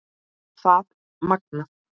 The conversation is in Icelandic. Það er magnað.